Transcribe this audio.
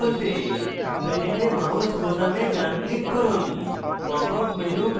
popup menu খুলতে panel mouse বোতামে ডান click করুন